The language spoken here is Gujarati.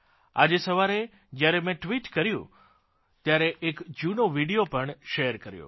આજે સવારે જ્યારે મેં ટ્વીટ કર્યું ત્યારે એક જૂનો વિડીઓ પણ શેયર કર્યો